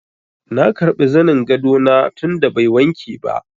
Na karbi zanin gado na tun da bai wanke ba.